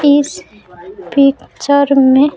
इस पिक्चर में--